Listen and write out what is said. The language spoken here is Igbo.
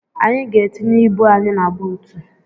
Anyị ga-etinye ibu anyị na buutu.